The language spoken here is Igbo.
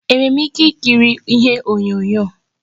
Enwere m ike ikiri ihe onyonyo